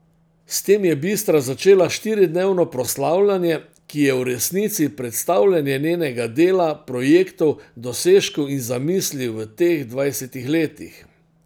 S tem je Bistra začela štiridnevno proslavljanje, ki je v resnici predstavljanje njenega dela, projektov, dosežkov in zamisli v teh dvajsetih letih.